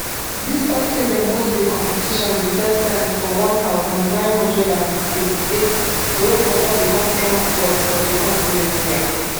despite say dem host di competition di first time for one thousand, nine hundred and eighty-eight morocco don become strong force for di continent wia